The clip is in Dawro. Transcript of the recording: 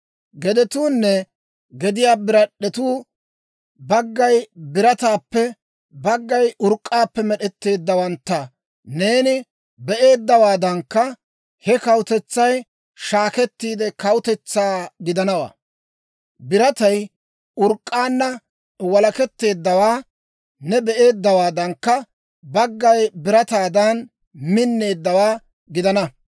«Gedetuunne gediyaa birad'd'etuu baggay birataappe, baggay urk'k'aappe med'etteeddawantta neeni be'eeddawaadankka, he kawutetsay shaakettiide kawutetsaa gidanawaa. Biratay urk'k'aanna walaketteeddawaa ne be'eeddawaadankka, baggay birataadan minneeddawaa gidana.